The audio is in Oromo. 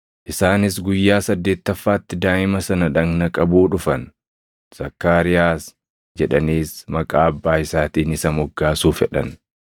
Isaanis guyyaa saddeettaffaatti daaʼima sana dhagna qabuu dhufan; Zakkaariyaas jedhaniis maqaa abbaa isaatiin isa moggaasuu fedhan.